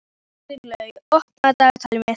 Kristlaug, opnaðu dagatalið mitt.